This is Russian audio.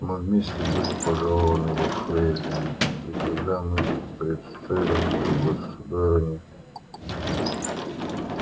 мы вместе были пожалованы во фрейлины и когда мы представились то государыня